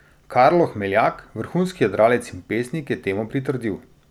Karlo Hmeljak, vrhunski jadralec in pesnik, je temu pritrdil.